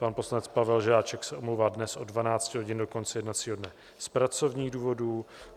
Pan poslanec Pavel Žáček se omlouvá dnes od 12 hodin do konce jednacího dne z pracovních důvodů.